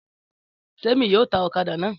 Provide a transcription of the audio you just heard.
Témi yóò ta ọ̀kadà náà.